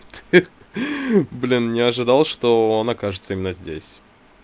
ха ха блин не ожидал что он окажется именно здесь